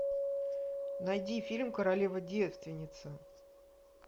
найди фильм королева девственница